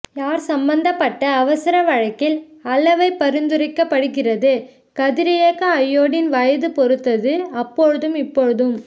யார் சம்பந்தப்பட்ட அவசர வழக்கில் அளவை பரிந்துரைக்கப்படுகிறது கதிரியக்க அயோடின் வயது பொறுத்தது அப்பொழுதும் இப்பொழுதும்